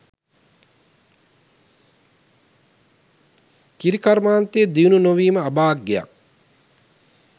කිරි කර්මාන්තය දියුණු නොවීම අභාග්‍යයක්.